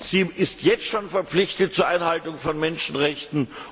Sie ist jetzt schon verpflichtet zur Einhaltung von Menschenrechten.